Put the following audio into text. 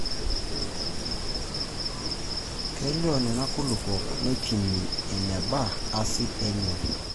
Keloy Nena kulupuok neipimi eneba asid enye.